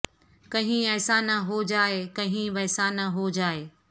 کہیں ایسا نہ ہو جائے کہیں ویسا نہ ہو جائے